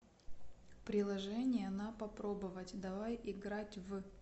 приложение на попробовать давай играть в